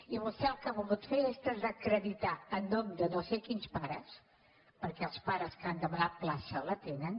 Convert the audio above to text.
i vostè el que ha volgut fer és desacreditar en nom de no sé quins pares perquè els pares que han demanat plaça la tenen